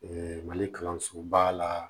mali kalansoba la